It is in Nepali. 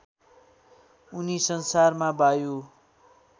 उनी संसारमा वायु